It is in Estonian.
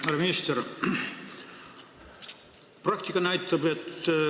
Härra minister!